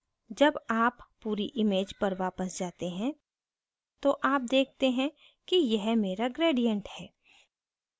जब आप पूरी image पर वापस जाते हैं तो आप देखते हैं कि यह मेरा gradient है